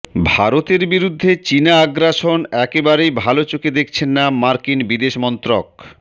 ভারতের বিরুদ্ধে চিনা আগ্রাসন একেবারেই ভাল চোখে দেখছে না মার্কিন বিদেশমন্ত্রক